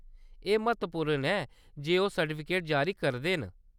एह्‌‌ म्हत्तवपूर्ण ऐ जे ओह्‌‌ सर्टिफिकेट जारी करदे न।